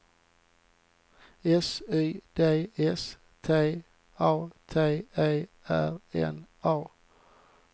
S Y D S T A T E R N A